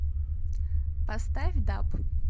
поставь даб